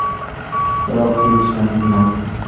Biroq tepishdan tinmasdi.